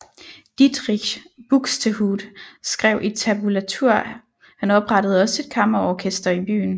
Dietrich Buxtehude skrevet i tabulatur Han oprettede også et kammerorkester i byen